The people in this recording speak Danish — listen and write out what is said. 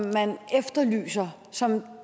man efterlyser som